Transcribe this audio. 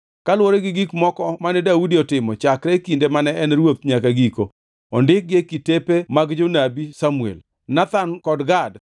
Kaluwore gi gik moko mane Daudi otimo chakre kinde mane en ruoth nyaka giko; ondikgi e kitepe mag jonabi Samuel, Nathan kod Gad,